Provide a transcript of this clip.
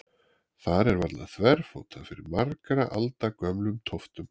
Þar er varla þverfótað fyrir margra alda gömlum tóftum.